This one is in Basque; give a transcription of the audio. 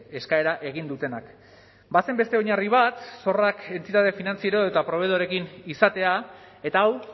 eskaera egin dutenak bazen beste oinarri bat zorrak entitate finantziero eta probeedorekin izatea eta hau